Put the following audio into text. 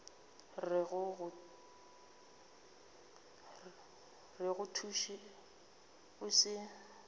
re go thuše o se